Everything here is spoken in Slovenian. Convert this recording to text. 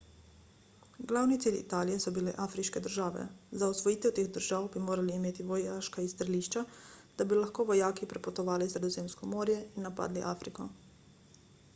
glavni cilj italije so bile afriške države za osvojitev teh držav bi morali imeti vojaška izstrelišča da bi lahko vojaki prepotovali sredozemsko morje in napadli afriko